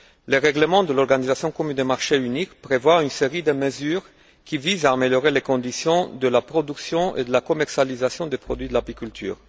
Le règlement de l'organisation commun de marché unique prévoit une série de mesures qui visent à améliorer les conditions de la production et de la commercialisation des produits de l'apiculture.